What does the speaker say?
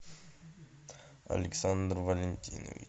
александр валентинович